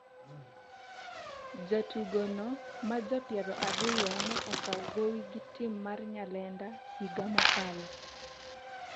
jatugono maja piero ariyo ne okaw gowi gi tim mar Nyalenda higa mokalo